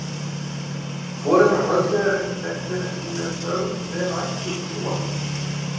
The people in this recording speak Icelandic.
Foreldrar Höllu eru ekki þekktir en hún er sögð vera ættuð úr Súgandafirði.